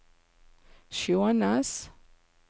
Skjånes